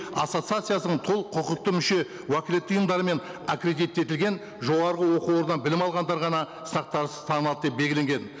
ассоциациясының толық құқықты мүше уәкілетті ұйымдарымен аккредиттетілген жоғарғы оқу орында білім алғандар ғана сақтан тыс танылады деп белгіленген